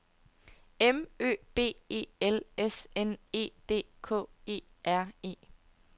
M Ø B E L S N E D K E R E